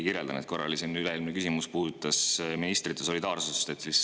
Üle-eelmine küsimus puudutas ministrite solidaarsust.